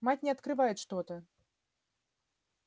мать не открывает что-то